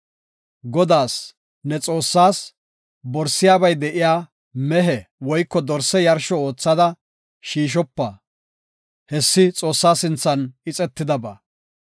Godaas, ne Xoossaas, borisiyabay de7iya mehe woyko dorse yarsho oothada shiishopa; hessi Xoossa sinthan ixetidaba.